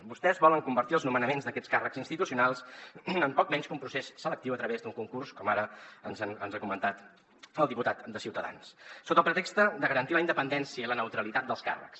vostès volen convertir els nomenaments d’aquests càrrecs institucionals en poc menys que un procés selectiu a través d’un concurs com ara ens ha comentat el diputat de ciutadans sota el pretext de garantir la independència i la neutralitat dels càrrecs